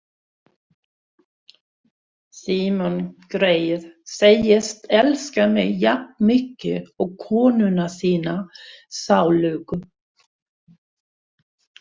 Símon greyið segist elska mig jafnmikið og konuna sína sálugu.